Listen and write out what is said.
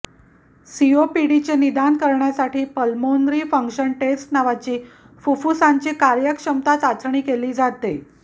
सीओपीडीचे निदान करण्यासाठी pulmonary function test नावाची फुप्फुसांची कार्यक्षमता चाचणी केली जाते